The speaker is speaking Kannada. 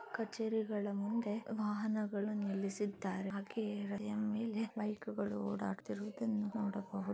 ಕಛೇರಿಗಳ ಮುಂದೆ ವಾಹನಗಳು ನಿಲ್ಲಿಸಿದ್ದಾರೆ ಹಾಗೆ ಎಂ ಎಲ್ ಎ ಬೈಕ್ಗಳು ಹೊಡಾಡ್ತಿರುವುದನ್ನು ನೋಡಬಹುದು